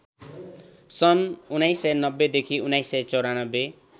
सन् १९९० देखि १९९४